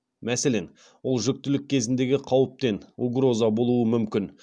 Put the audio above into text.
мәселен ол жүктілік кезіндегі қауіптен болуы мүмкін